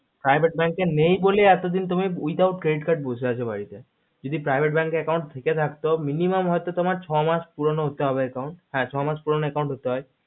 private bank এ নেই বলে without credit card এ বসে আছো বাড়িতে যদি private bank এ থেকে থাকতো minimum হয়তো তোমার ছ মাস পুরোনো হতে হবে account হা ছ মাস পুরোনো account হাতে হয়